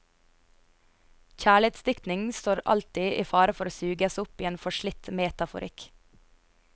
Kjærlighetsdiktning står alltid i fare for å suges opp i en forslitt metaforikk.